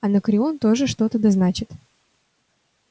анакреон тоже что-то да значит